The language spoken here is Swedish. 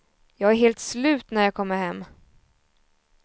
Jag är helt slut när jag kommer hem.